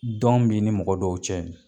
dɔn b'i ni mɔgɔ dɔw cɛ